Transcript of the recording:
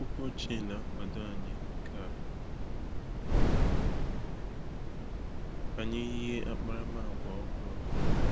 Akwụkwọ ochie na-akwado anyị ka anyị yie akparamagwa ọhụrụ.